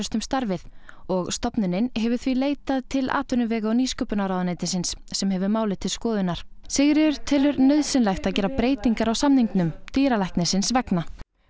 um starfið og stofnunin hefur því leitað leitað til atvinnuvega og nýsköpunarráðuneytisins sem hefur málið til skoðunar Sigríður telur nauðsynlegt að gera breytingar á samningnum dýralæknisins vegna